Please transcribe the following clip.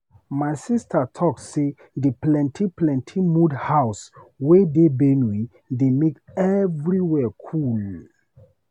My sista talk sey di plenty plenty mud house wey dey Benue dey make everywhere cool.